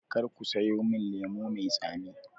Karka sayo min lemo mai tsami